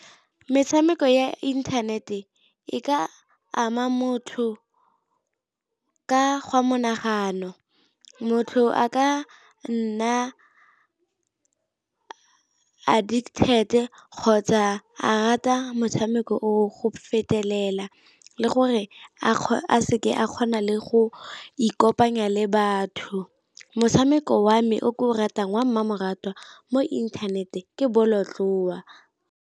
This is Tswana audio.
Metshameko ya internet-e e ka ama motho ka gwa monagano, motho a ka nna addicted kgotsa a rata motshameko o go fetelela le gore a a seke a kgona le go ikopanya le batho. Motshameko wa me o ke o ratang wa mmamoratwa mo inthaneteng ke bolotloa.